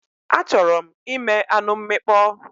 Achọrọ m ime anụ mmịkpọ